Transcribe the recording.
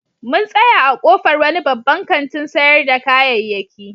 Mun tsaya a ƙofar wani babban kantin sayar da kayayyaki.